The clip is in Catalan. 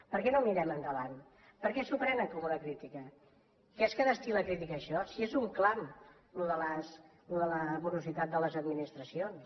per què no mirem endavant per què s’ho prenen com una crítica que és que destil·la crítica això si és un clam això de la morositat de les administracions